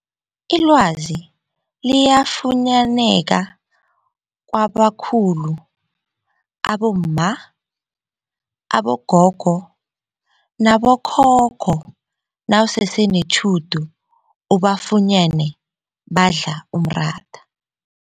Ilwazi liyafunyaneka kwabakhulu abomma, abogogo nabokhokho nawusese netjhudu ubafunyene badla umratha.